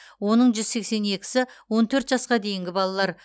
оның жүз сексен екісі он төрт жасқа дейінгі балалар